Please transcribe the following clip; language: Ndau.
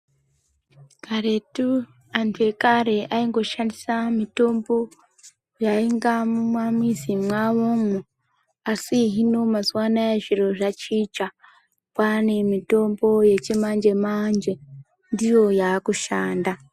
Karetu antu ekare aingo shandisa mitombo yaniga muma mizi mawomwo asi hino mazuva anaya zviro zvachinja kwane mitombo yechi manje manje ndiyo yakushanda.